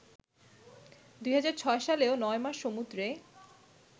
২০০৬ সালেও নয়মাস সমুদ্রে